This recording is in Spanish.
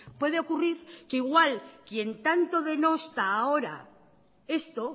puede ocurrir que igual quien tanto denosta ahora esto